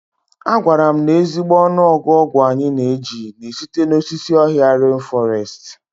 A gwara m na ezigbo ọnụọgụ ọgwụ anyị na-eji na-esite n'osisi ọhịa ren fọrestị.